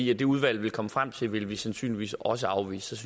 det det udvalg vil komme frem til vil vi sandsynligvis også afvise